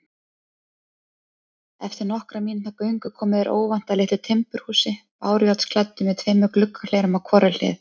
Eftir nokkurra mínútna göngu komu þeir óvænt að litlu timburhúsi, bárujárnsklæddu með tveimur gluggahlerum á hvorri hlið.